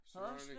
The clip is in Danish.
Hasle